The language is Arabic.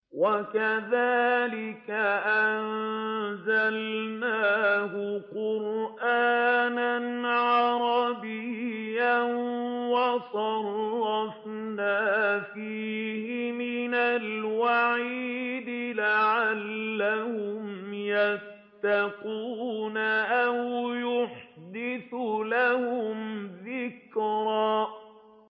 وَكَذَٰلِكَ أَنزَلْنَاهُ قُرْآنًا عَرَبِيًّا وَصَرَّفْنَا فِيهِ مِنَ الْوَعِيدِ لَعَلَّهُمْ يَتَّقُونَ أَوْ يُحْدِثُ لَهُمْ ذِكْرًا